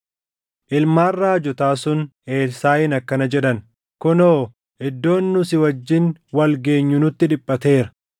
Ilmaan raajotaa sun Elsaaʼiin akkana jedhan; “Kunoo, iddoon nu si wajjin wal geenyu nutti dhiphateera.